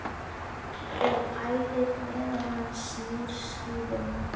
Og pælir meðan hann snýr skífunni.